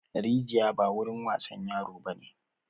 Rijiya ba wurin wasan yaro bane!